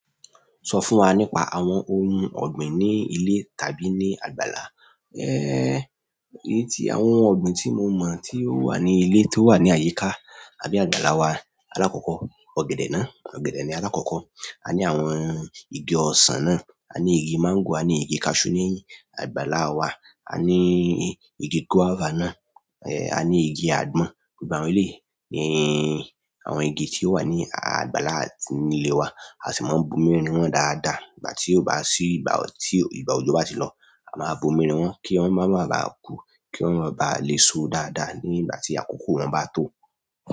Sọ fún wa nípa àwọn ohun ọ̀gbìn ní ilé tàbí ní àgbàlá. Èyí tí, àwọn ọ̀gbìn tí mo mọ̀ tí ó wà ní ilé tó wà ní àyíká àbí àgbàlá wa, alákọ̀ọ́kọ́ ọ̀gẹ̀dẹ̀ náà, ọ̀gẹ̀dẹ̀ ni alákọ̀ọ́kọ́. A ní àwọn igi ọsàn náà, a ní igi máńgò, a ní igi cashew ní àgbàlá wa. A ní igi guava náà, a ní igi àgbọn. Gbogbo àwọn eléyìí ni àwọn igi tí ó wà ní àgbàlá àti nílé wa, a sì máa ń bomi rin wọ́n dáadáa ìgbà tí ó bá sí ìgbà ọ̀, tí ìgbà òjò bá ti lọ. A máa ń bomi rin wọ́n kí wọ́n má baà kú, ki wọ́n máa baà le so dáadáa ní ìgbà tí àkókò wọn bá tó.